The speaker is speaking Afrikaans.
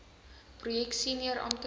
projek senior amptenare